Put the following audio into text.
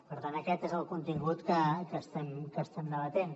per tant aquest és el contingut que estem debatent